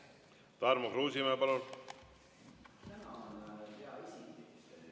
Tarmo Kruusimäe, palun!